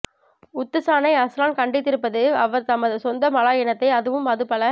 உத்துசானை அஸ்ரான் கண்டித்திருப்பது அவர் தமது சொந்த மலாய் இனத்தை அதுவும் அது பல